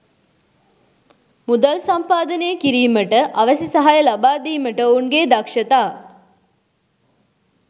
මුදල් සම්පාදනය කිරීමට අවැසි සහාය ලබා දීමට ඔවුන්ගේ දක්ෂතා